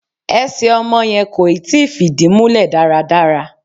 Ẹsẹ̀ ọmọ yẹn kò ì tí fìdí múlẹ̀ dáradára.